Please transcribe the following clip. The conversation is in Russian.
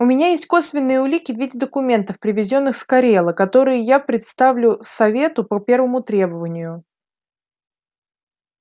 у меня есть косвенные улики в виде документов привезённых с корела которые я предоставлю совету по первому требованию